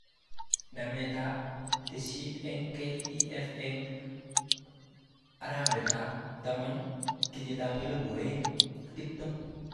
Nambetab tesisyit eng KEF eng arawetab taman 2020